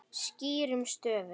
Skýrum stöfum.